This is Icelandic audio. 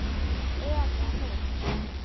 Eða mynd.